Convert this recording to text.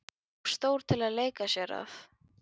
Of stór til að leika sér að.